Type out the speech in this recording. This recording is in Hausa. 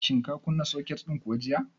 Shin ka kunna soket din kuwa jiya?